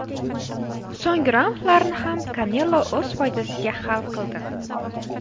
So‘nggi raundlarni ham Kanelo o‘z foydasiga hal qildi.